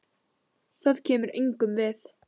Það kemur engum við.